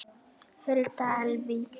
Hulda Elvý.